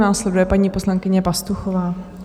Následuje paní poslankyně Pastuchová.